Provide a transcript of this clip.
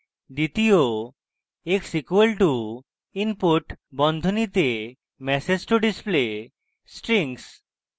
দ্বিতীয় x = input বন্ধনীতে message to display strings